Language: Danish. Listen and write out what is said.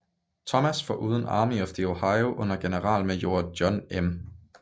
Thomas foruden Army of the Ohio under generalmajor John M